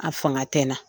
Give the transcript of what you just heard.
A fanga tɛ n na